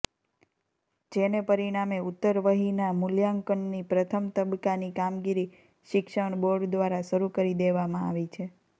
જેને પરિણામે ઉત્તરવહિના મૂલ્યાંકનની પ્રથમ તબક્કાની કામગીરી શિક્ષણ બોર્ડ દ્વારા શરૂ કરી દેવામાં આવી છે